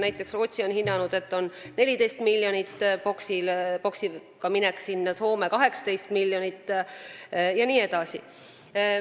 Näiteks Rootsi on hinnanud, et lähevad sinna 14-miljonilise boksiga, Soome summa on 18 miljonit jne.